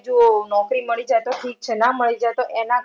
જો નોકરી મળી જાય તો ઠીક છે ના મળી જાય તો એના